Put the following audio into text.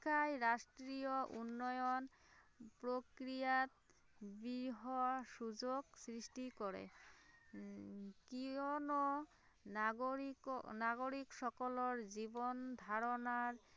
শিক্ষাই ৰাষ্ট্ৰীয় উন্নয়ন প্ৰক্ৰিয়াত বৃহৎ সুযোগ সৃষ্টি কৰে, কিয়নো নাগৰিক নাগৰিক সকলৰ জীৱন ধাৰণাৰ